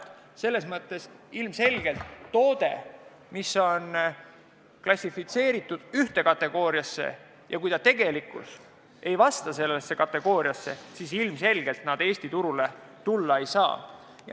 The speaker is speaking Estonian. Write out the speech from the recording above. Tänu sellele ilmselgelt toode, mis on klassifitseeritud ühte kategooriasse, aga tegelikult ei kuulu sellesse kategooriasse, Eesti turule tulla ei saa.